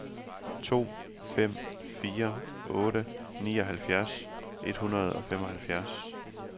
to fem fire otte nioghalvfjerds et hundrede og femoghalvfjerds